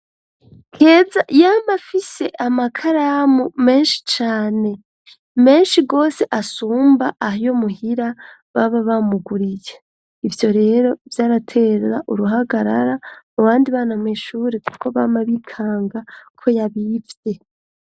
Keza yama afise amakaramu meshi cane meshi gose asumba ayo muhira baba bamuguriye ivyo rero vyaratera uruhagarara mu bandi bana mw'ishuri kuko bama bikanga ko yabivye.